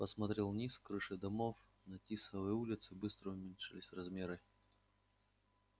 посмотрел вниз крыши домов на тисовой улице быстро уменьшались размеры